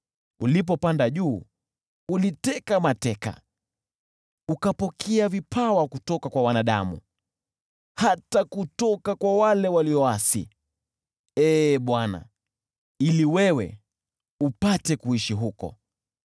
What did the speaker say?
Ulipopanda juu, uliteka mateka, ukapokea vipawa kutoka kwa wanadamu, hata kutoka kwa wale walioasi, ili wewe, Ee Bwana Mungu, upate kuishi huko.